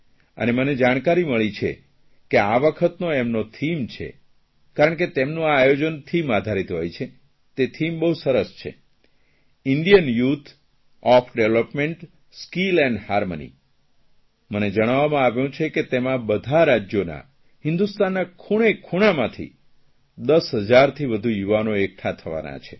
અને મને જાણકારી મળી છે કે આ વખતનો એમનો થીમ છે કારણ કે તેમનું આ આયોજન થીમ આધારિત હોય છે તે થીમ બહુ સરસ છે Indian youth of development skill and harmony મને જણાવવામાં આવ્યું છે કે તેમાં બધાં રાજયોના હિન્દુસ્તાનના ખૂણેખૂણામાંથી 10 હજારથી વધુ યુવાનો એકઠા થવાના છે